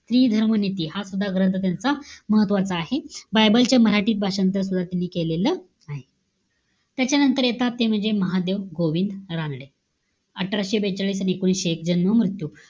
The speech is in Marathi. स्त्रीधर्म नीती, हासुद्धा ग्रंथ त्यांचा महत्वाचा आहे. बायबलचं मराठीत सुद्धा भाषांतर त्यांनी केलेलं आहे. त्याच्यानंतर येतात ते म्हणजे, महादेव गोविंद रानडे. अठराशे बेचाळीस आणि एकोणीशे एक, जन्म-मृत्यू.